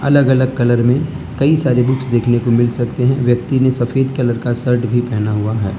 अलग अलग कलर में कई सारे बुक्स देखने को मिल सकते हैं व्यक्ति ने सफेद कलर का शर्ट भी पहना हुआ है।